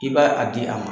I b'a a di a ma